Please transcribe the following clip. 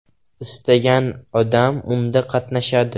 Istagan odam unda qatnashadi.